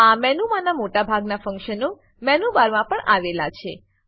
આ મેનુમાનાં મોટા ભાગનાં ફંક્શનો મેનુ બારમાં પણ આવેલા છે